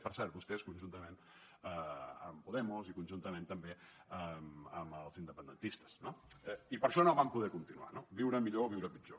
per cert vostès conjuntament amb podemos i conjuntament també amb els independentistes no i per això no van poder continuar no viure millor o viure pitjor